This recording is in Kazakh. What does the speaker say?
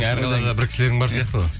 әр қалада бір кісілерің бар сияқты ғой